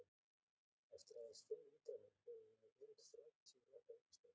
Eftir aðeins fimm ítranir höfum við yfir þrjátíu rétta aukastafi!